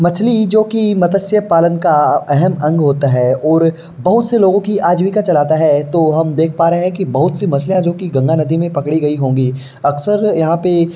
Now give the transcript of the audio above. मछली जो कि मत्स्य पालन का अहम अंग होता है और बहुत से लोगों की आजीविका चलता है। तो हम देख पा रहे है कि बहुत सी मछलियां जो कि गंगा नदी में पकड़ी गई होंगी अक्सर यहां पे --